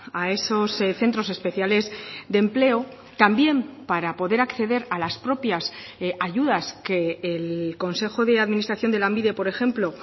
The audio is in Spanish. a esos centros especiales de empleo también para poder acceder a las propias ayudas que el consejo de administración de lanbide por ejemplo